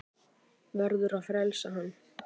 Verður að frelsa hann.